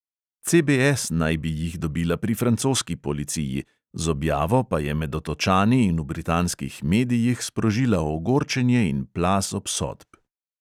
CBS naj bi jih dobila pri francoski policiji, z objavo pa je med otočani in v britanskih medijih sprožila ogorčenje in plaz obsodb.